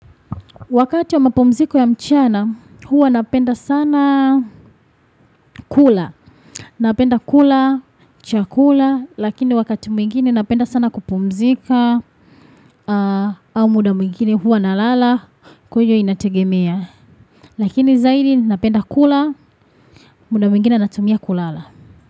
Wakati wa mapumziko ya mchana, huwa napenda sana kula. Napenda kula, chakula, lakini wakati mwingine napenda sana kupumzika, au muda mwingine huwa nalala, kwa hiyo inategemea. Lakini zaidi napenda kula, muda mwingine natumia kulala.